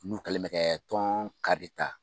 N'u kɛlen mɛ kɛ tɔn kari ta.